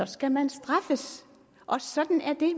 skal man straffes sådan er det